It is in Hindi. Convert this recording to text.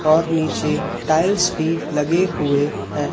और नीचे टाइल्स भी लगे हुए हैं।